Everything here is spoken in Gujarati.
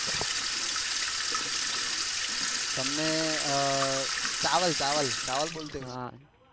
તમને અ ચાવલ ચાવલ ચાવલ બોલતા હૈ